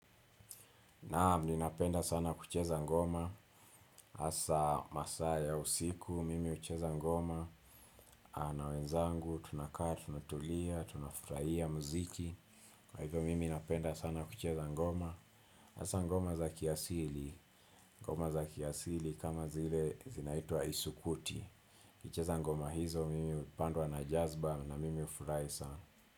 Naam, ninapenda sana kucheza ngoma, hasa masaa ya usiku, mimi hucheza ngoma, na wenzangu, tunakaa, tunatulia, tunafurahia, muziki, kwa hivyo mimi napenda sana kucheza ngoma, hasa ngoma za kiasili, ngoma za kiasili kama zile zinaitwa isukuti, kucheza ngoma hizo mimi hupandwa na jazba na mimi hufurahi sana.